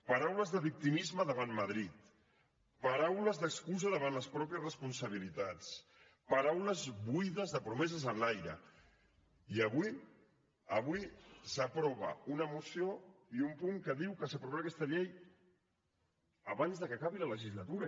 paraules de victimisme davant madrid paraules d’excusa davant les pròpies responsabilitats paraules buides de promeses en l’aire i avui avui s’aprova una moció i un punt que diu que s’aprovarà aquesta llei abans que acabi la legislatura